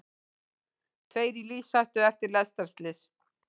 Tveir í lífshættu eftir lestarslys